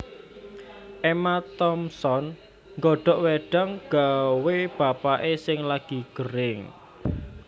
Emma Thompson nggodhok wedang gawe bapak e sing lagi gering